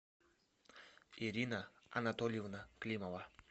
ирина анатольевна климова